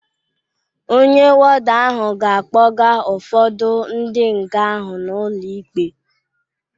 Ọnye wọda ahụ ga-akpọga ụfọdu ndi nga ahụ n' ụlo ịkpe